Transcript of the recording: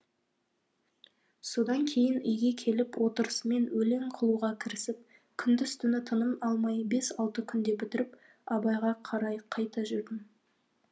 содан кейін үйге келіп отырысымен өлең қылуға кірісіп күндіз түні тыным алмай бес алты күнде бітіріп абайға қарай қайта жүрдім